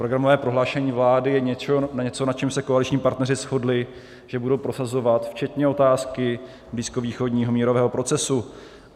Programové prohlášení vlády je něco, na čem se koaliční partneři shodli, že budou prosazovat, včetně otázky blízkovýchodního mírového procesu.